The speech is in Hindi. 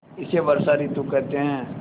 इसे वर्षा ॠतु कहते हैं